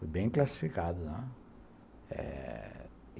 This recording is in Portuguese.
Fui bem classificado, né? eh...